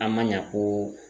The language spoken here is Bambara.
An man ɲa ko